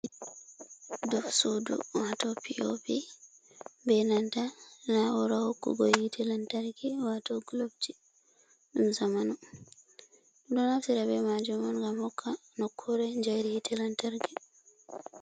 Dow sudu, wato p, o, p be nanta nau, ra hokku go yite lantarki wato gulofji ɗum zamanu. ɗumɗo naftira be majum on ngam hokka nokkure njayri yite lantaki.